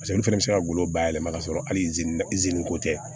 olu fɛnɛ bɛ se ka golo bayɛlɛma ka sɔrɔ hali ko tɛ